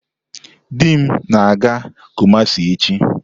Di m na-aga Kumasi echi.